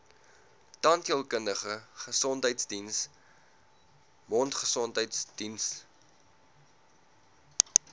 tandheelkundige gesondheidsdiens mondgesondheidsdiens